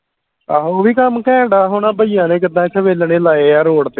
ਆਹੋ ਉਹ ਵੀ ਕੰਮ ਘੈਂਟ ਆ ਹੁਣ ਆ ਬਾਈਆਂ ਨੇ ਕਿਦਾਂ ਇੱਥੇ ਵੇਲਣੇ ਲਾਏ ਆ road ਤੇ